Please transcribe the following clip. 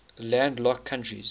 landlocked countries